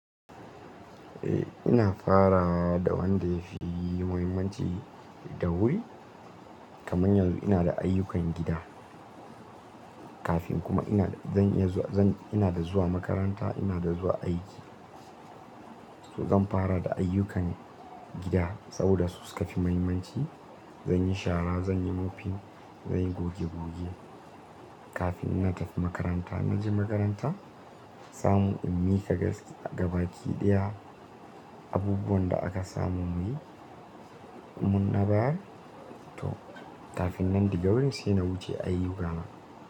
Eh ina farawa da wanda ya fi muhimmanci da wuri. Kaman yanzu ina da ayyukan gida kafin kuma ina zan iya zan ina da zuwa makaranta ina da zuwa aiki. To zan fara da ayyukan gida saboda su suka fi muhimmanci. Zan yi shara, zan yi mofin, zan yi goge goge kafin ina tafi makaranta. In je makaranta, in samo ilmi ka gaskiya gaba ki daya abubuwan da aka samu muyi mun na bayan to kafin nan daga wurin sai na wuce ayyu ka na.